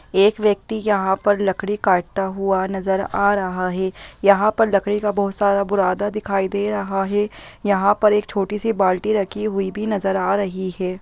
एक व्यक्ति यहाँ पर लकड़ी काटता हुआ नजर आ रहा हैं यहाँ पर लकड़ी का बहुत सारा बुरादा दिखाई दे रहा हैं यहाँ पर एक छोटी सी बाल्टी रखी हुई भी नजर आ रही हैं।